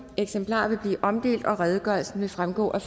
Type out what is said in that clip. eksemplarer vil blive omdelt og redegørelsen vil fremgå af